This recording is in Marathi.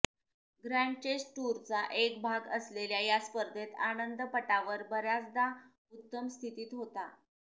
ग्रँड चेस टूरचा एक भाग असलेल्या त्या स्पर्धेत आनंद पटावर बऱयाचदा उत्तम स्थितीत होता